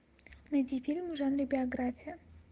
найди фильм в жанре биография